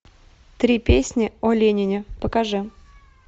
три песни о ленине покажи